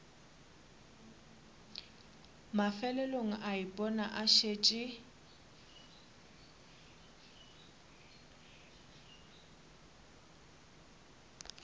mafelelong a ipona a šetše